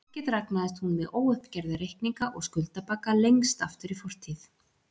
Ekki dragnaðist hún með óuppgerða reikninga og skuldabagga lengst aftur í fortíð.